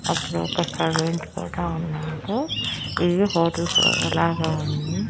అక్కడ ఒక సర్వెంట్ కూడా ఉన్నాడు ఇది హోటల్స్ రూము లాగ ఉంది.